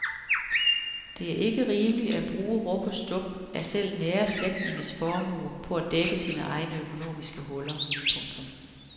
Det er ikke rimeligt at bruge rub og stub af selv nære slægtninges formue på at dække sine egne økonomiske huller. punktum